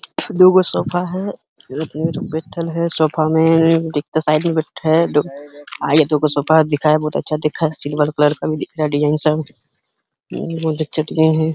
दूगो सोफा है। बइठल है सोफे में आइये दूगो सोफा दिखाए बहोत अच्छा दिख रहा है। सिल्वर कलर का भी दिख रहा है। डिज़ाइन बहोत अच्छा डिज़ाइन है।